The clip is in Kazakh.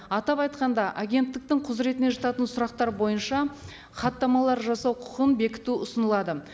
атап айтқанда агенттіктің құзыретіне жататын сұрақтар бойынша хаттамалар жасау құқын бекіту ұсынылады